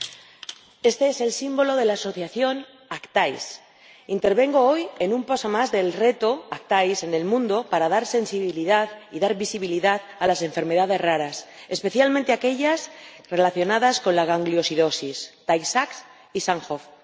Señor Presidente, este es el símbolo de la asociación Actays. Intervengo hoy en un paso más del reto de Actays en el mundo para despertar sensibilidad y dar visibilidad a las enfermedades raras, especialmente aquellas relacionadas con la gangliosidosis Tay Sachs y Sandhoff.